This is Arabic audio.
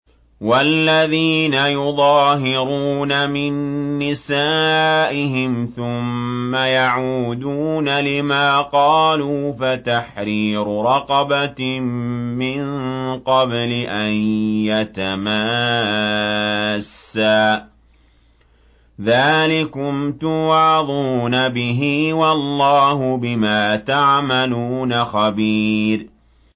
وَالَّذِينَ يُظَاهِرُونَ مِن نِّسَائِهِمْ ثُمَّ يَعُودُونَ لِمَا قَالُوا فَتَحْرِيرُ رَقَبَةٍ مِّن قَبْلِ أَن يَتَمَاسَّا ۚ ذَٰلِكُمْ تُوعَظُونَ بِهِ ۚ وَاللَّهُ بِمَا تَعْمَلُونَ خَبِيرٌ